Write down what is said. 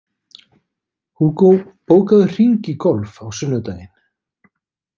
Hugo, bókaðu hring í golf á sunnudaginn.